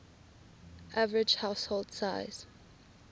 average household size